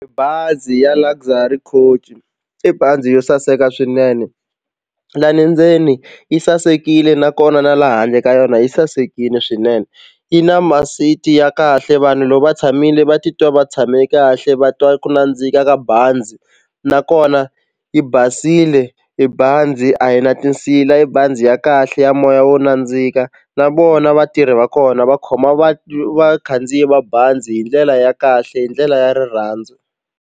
Bazi ya Luxy Coach i bazi yo saseka swinene lani ndzeni yi sasekile nakona na la handle ka yona yi sasekile swinene yi na ma-seat ya kahle vanhu loko va tshamile va titwa va tshame kahle va twa ku nandzika ka bazi nakona yi basile i bazi a hi na tinsila i bazi ya kahle ya moya wo nandzika na vona vatirhi va kona va khoma vakhandziyi va bazi hi ndlela ya kahle hi ndlela ya rirhandzu.